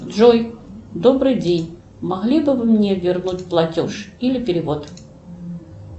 джой добрый день могли бы вы мне вернуть платеж или перевод